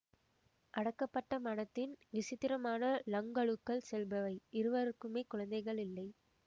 அடக்கப்பட்ட மனத்தின் விசித்திரமான ழங்களுக்குள் செல்பவை இருவருக்குமே குழந்தைகள் இல்லை